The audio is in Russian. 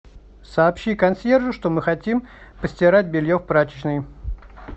сообщи консьержу что мы хотим постирать белье в прачечной